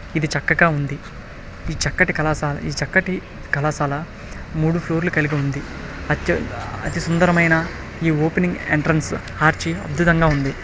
ఇది చక్కగా ఉంది. ఈ చక్కటి కళాశాల ఈ చక్కటి కళాశాల మూడు ఫ్లోర్ లు కలిగి ఉంది. అతి సుందరమైన ఈ ఓపెనింగ్ ఎంట్రన్స్ ఆర్చి అద్భుతంగా ఉంది.